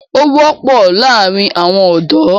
Ó wọ́pọ̀ láàrin àwọn ọ̀dọ́.